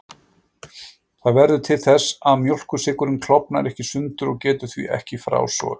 Það verður til þess að mjólkursykurinn klofnar ekki í sundur og getur því ekki frásogast.